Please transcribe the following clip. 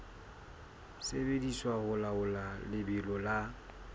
sebediswa ho laola lebelo la